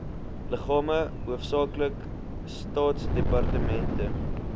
liggame hoofsaaklik staatsdepartemente